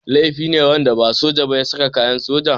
Laifi ne wanda ba soja ba ya saka kayan sojoji.